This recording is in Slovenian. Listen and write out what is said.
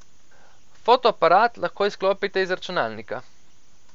Fotoaparat lahko izklopite iz računalnika.